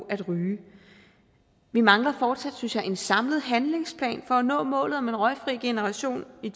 at ryge vi mangler fortsat synes jeg en samlet handlingsplan for at nå målet om en røgfri generation i